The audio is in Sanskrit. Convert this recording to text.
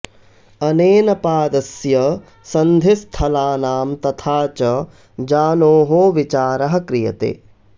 अनेन पादस्य सन्धिस्थलानां तथा च जानोः विचारः क्रियते